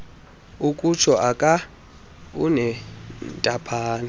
ukutsho aka unentaphane